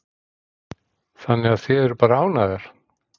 Þannig að þið eruð bara ánægðar?